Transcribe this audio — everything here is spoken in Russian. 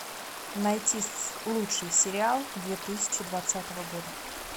найти лучший сериал две тысячи двадцатого года